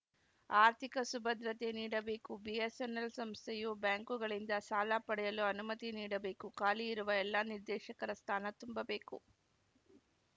ಆರ್ಥಿಕ ಸುಭದ್ರತೆ ನೀಡಬೇಕು ಬಿಎಸ್‌ಎನ್‌ಎಲ್‌ ಸಂಸ್ಥೆಯು ಬ್ಯಾಂಕುಗಳಿಂದ ಸಾಲ ಪಡೆಯಲು ಅನುಮತಿ ನೀಡಬೇಕು ಖಾಲಿಯಿರುವ ಎಲ್ಲ ನಿರ್ದೇಶಕರ ಸ್ಥಾನ ತುಂಬಬೇಕು